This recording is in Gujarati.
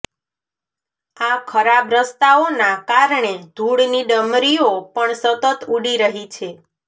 આ ખરાબ રસ્તાઓનાં કારણે ધુળની ડમરીઓ પણ સતત ઉડી રહી છે